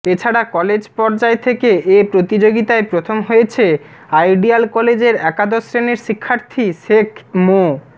এছাড়া কলেজ পর্যায় থেকে এ প্রতিযোগিতায় প্রথম হয়েছে আইডিয়াল কলেজের একাদশ শ্রেণির শিক্ষার্থী শেখ মো